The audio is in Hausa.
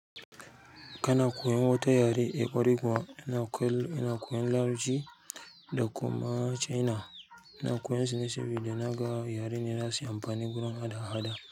Kana koyan wata yare? Eh ƙwarai kuwa ina koyan Larabci da kuma China. Ina koyan sune sabida na ga yare ne za suyi amfani gurin haɗa haɗa.